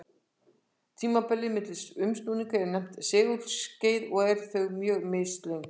Tímabilið milli umsnúninga er nefnt segulskeið og eru þau mjög mislöng.